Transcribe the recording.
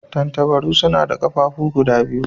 Tattabara suna da ƙafafuwa guda biyu.